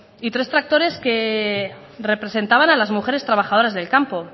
y tres tractores que representaban a las mujeres trabajadoras del campo